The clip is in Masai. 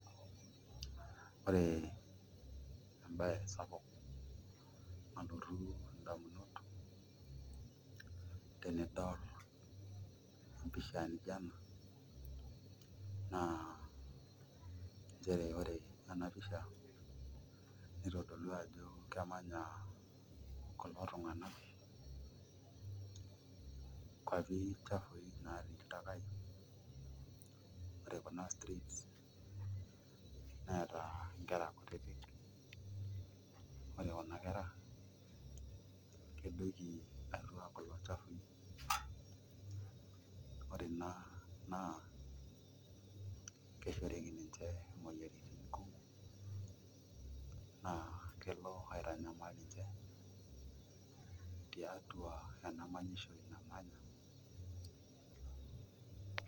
Ore embaye sapuk nalotu ndamunot tenidol empishja nijio ena naa nchere kitodolu ajo emanya kulo tung'anak atua ilchafuui naatii iltakai, ore kuna streets neeta nkera ore kuna kera kedoiki atua kulo chafui ore ina keshoriki ninje imoyiaritin kumok naa kelo aitanyamal ninche tiatu ena manyishore namanya.